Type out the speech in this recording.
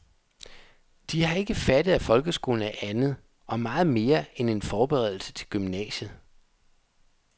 De har ikke fattet, at folkeskolen er andet og meget mere end en foreberedelse til gymnasiet.